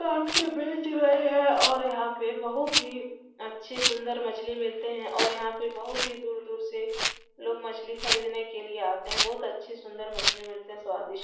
काट के बेच रहे हैं और यहाँ पे बहुत ही अच्छे सुंदर मछली मिलते हैं और यहाँ पे बहुत ही दूर-दूर से लोग मछली खरीदने के लिए आते हैं। बहुत अच्छी सुंदर मछली मिलती है स्वादिष्ट --